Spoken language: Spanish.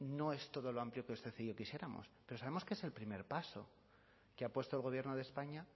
no es todo lo amplio que usted y yo quisiéramos pero sabemos que es el primer paso que ha puesto el gobierno de españa